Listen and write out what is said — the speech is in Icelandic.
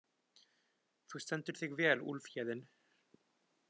Þú stendur þig vel, Úlfhéðinn!